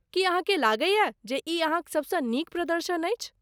की अहाँ के लगैए जे ई अहाँक सबसँ नीक प्रदर्शन अछि?